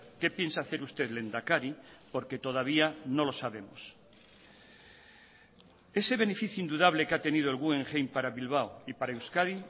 qué piensa hacer usted lehendakari porque todavía no lo sabemos ese beneficio indudable que ha tenido el guggenheim para bilbao y para euskadi